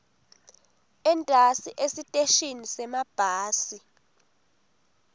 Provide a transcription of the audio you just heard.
entasi esiteshini semabhasi